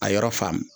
A yɔrɔ faamu